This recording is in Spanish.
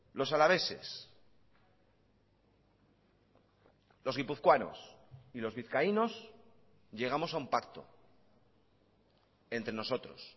los alaveses los guipuzcoanos y los vizcaínos llegamos a un pacto entre nosotros